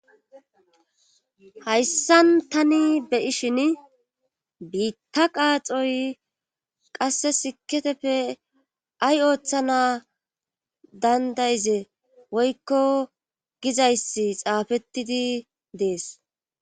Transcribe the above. hayssan tani be'ishin biitta qaaxoy qasse siketeppe ay ooththana danda'ize woykko gizayssi xaafettidi dees